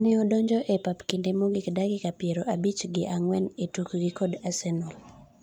ne odonjo e pap e kinde mogik dakika piero abich gi ang'wen etukgi kod Arsenal